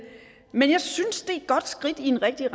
men jeg synes et godt skridt i den rigtige